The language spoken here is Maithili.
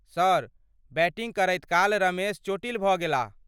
सर, बैटिंग करैत काल रमेश चोटिल भऽ गेलाह।